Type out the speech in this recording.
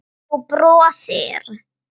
Þú brosir.